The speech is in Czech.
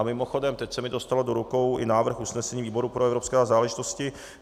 A mimochodem, teď se mi dostal do rukou i návrh usnesení výboru pro evropské záležitosti.